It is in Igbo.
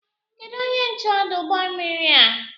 Kedụ onye nche ọdụ ụgbọ mmiri a?